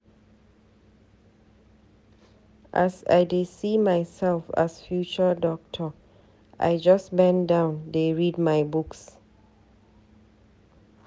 As I dey see myself as future doctor, I just bendown dey read my books.